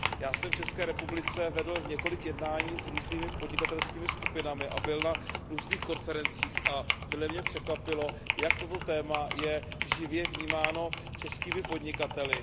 Já jsem v České republice vedl několik jednání s různými podnikatelskými skupinami a byl na různých konferencích a mile mě překvapilo, jak toto téma je živě vnímáno českými podnikateli.